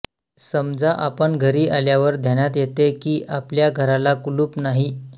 समजा आपण घरी आल्यावर ध्यानात येते की आपल्या घराला कुलूप नाही